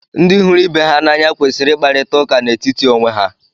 ndị hụrụ ibe ha n’anya kwesịrị ịkparịta ụka n'etiti onwe ha